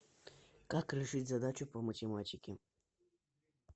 как решить задачу по математике